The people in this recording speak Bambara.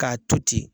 K'a to ten